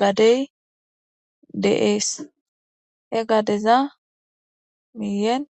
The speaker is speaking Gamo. gade deas he gadeza miyen.